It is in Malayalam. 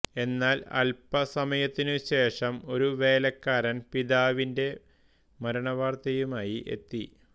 എന്നാൽ അൽപസമയത്തിനുശേഷം ഒരു വേലക്കാരൻ പിതാവിന്റെ മരണ വാർത്തയുമായി എത്തി